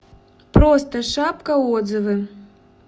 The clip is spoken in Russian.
просто шапка отзывы